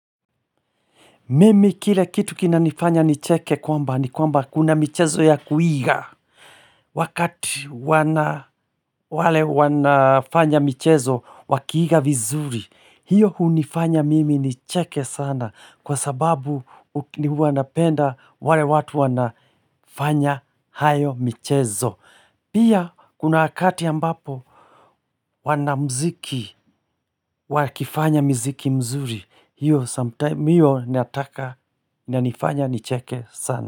Mimi kile kitu kinanifanya nicheke kwamba ni kwamba kuna michezo ya kuiga. Wakati wana wale wanafanya michezo wakiiga vizuri. Hiyo hunifanya mimi nicheke sana kwa sababu ni wanapenda wale watu wanafanya hayo michezo. Pia kuna wakati ambapo wanamziki wakifanya miziki mzuri. Hiyo sometime hiyo nataka na nifanya nicheke sana.